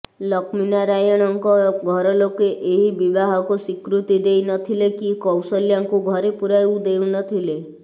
ଲକ୍ଷ୍ମୀନାରାୟଣଙ୍କ ଘରଲୋକେ ଏହି ବିବାହକୁ ସ୍ୱୀକୃତି ଦେଇ ନଥିଲେ କି କୌଶଲ୍ୟାଙ୍କୁ ଘରେ ପୂରାଉ ନଥିଲେ